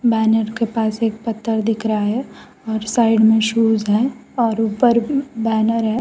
Banner के पास एक पत्थर दिख रहा है और साइड में शूज है और ऊपर बैनर है।